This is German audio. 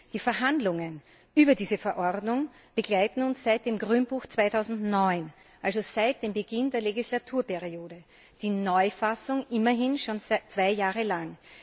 Die Verhandlungen über diese Verordnung begleiten uns seit dem Grünbuch 2009, also seit dem Beginn der Legislaturperiode, die Neufassung immerhin schon zwei Jahre lang.